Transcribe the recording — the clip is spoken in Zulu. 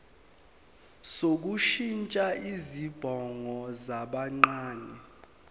sokushintsha izibongo zabancane